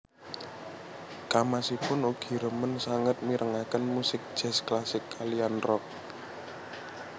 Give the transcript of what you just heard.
Kamasipun ugi remen sanget mirengaken musik jazz klasik kaliyan rock